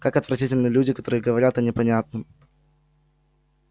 как отвратительны люди которые говорят о непонятном